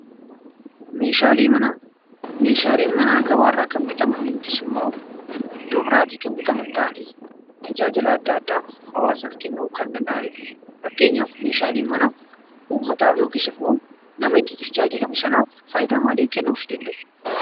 Meeshaaleen manaa gabaarraa kan bitaman yookiis immoo iddoo biraatii kan bitaman ta'anii, tajaajila adda addaa hawaasaaf kennuu kan danda'anidha. Fakkeenyaaf meeshaaleen manaa uummataaf yookiis immoo nama itti tajaajilamu sanaaf faayidaa maalii kennuufii danda'u?